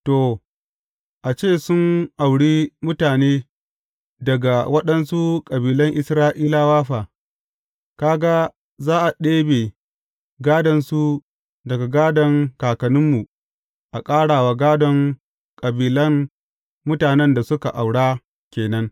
To, a ce sun auri mutane daga waɗansu kabilan Isra’ilawa fa; ka ga, za a ɗebe gādonsu daga gādon kakanninmu a ƙara wa gādon kabilan mutanen da suka aura ke nan.